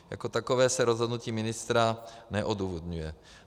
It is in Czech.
Jako takové se rozhodnutí ministra neodůvodňuje.